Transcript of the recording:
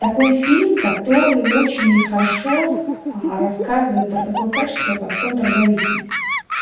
такой фильм который очень хорошо рассказывает про такое качество как контрзависимость